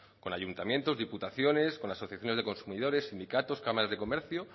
con ayuntamientos diputaciones con asociaciones de consumidores sindicatos cámaras de comercio